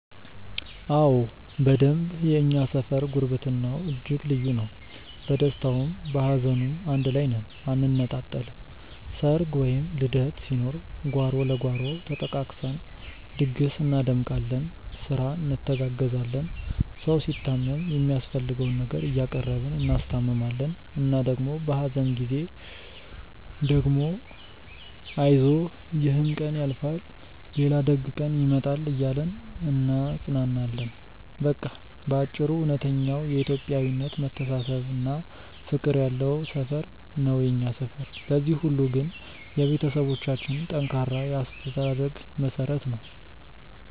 አዎ በደንብ የእኛ ሰፈር ጉርብትናው እጅግ ልዩ ነው። በደስታውም በሀዘኑም አንድ ላይ ነን አንነጣጠልም። ሰርግ ወይም ልደት ሲኖር ጓሮ ለጓሮ ተጠቃቅሰን ድግስ እናደምቃለን፤ ስራ እንተጋገዛለን። ሰው ሲታመም የሚያስፈልገውን ነገር እያቀረብን እናስታምማለን እና ደግሞ በሀዘን ጊዜ ደግሞ አይዞህ ይሕም ቀን ያልፋል ሌላ ደግ ቀን ይመጣል እያልን እናጽናናለን። በቃ በአጭሩ እውነተኛው የኢትዮጵያዊነት መተሳሰብና ፍቅር ያለው ሰፈር ነው የኛ ሰፈር። ለዚህ ሁሉ ግን የቤተሰቦቻችን ጠንካራ የአስተዳደግ መሠረት ነው።